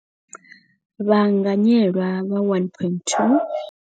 Vhaanganyelwa vha 1.25.